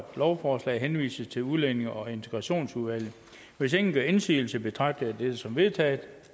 lovforslaget henvises til udlændinge og integrationsudvalget hvis ingen gør indsigelse betragter jeg det som vedtaget